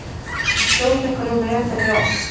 Að skjóta einhverjum ref fyrir rass